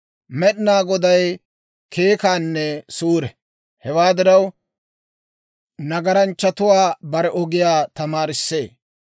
Med'inaa Goday keekkanne suure; hewaa diraw, nagaranchchatuwaa bare ogiyaa tamaarissee.